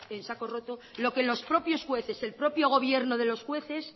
en saco roto lo que los propios jueces el propio gobierno de los jueces